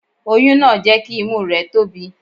Oyún náà jẹ́ kí imú rẹ̀ tóbi.